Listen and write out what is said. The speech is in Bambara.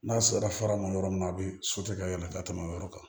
N'a sera fara ma yɔrɔ min na a bi ka yɛlɛ ka tɛmɛ o yɔrɔ kan